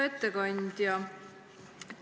Hea ettekandja!